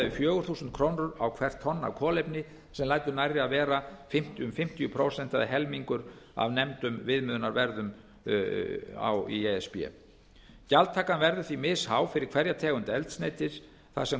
við fjögur þúsund krónur á hvert tonn af kolefni sem lætur nærri að vera um fimmtíu prósent eða helmingur af nefndum viðmiðunarverðum í e s b gjaldtakan verður því mis há fyrir hverja tegund eldsneytis þar sem